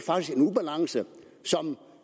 ubalance som